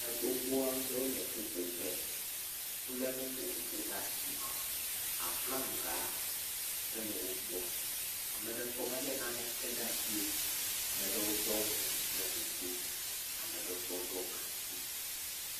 Ame agbogbo aɖewo le ƒuƒoƒe. Wole nu vovovowo ɖe asi. Flaga tse le wògbɔ. Ame ɖewo tse wole naneke ɖe asi o. Ame ɖewo ɖɔnu ɖe nu to Ame ɖewo tse woɖe gankui.